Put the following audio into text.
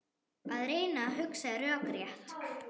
Að reyna að hugsa rökrétt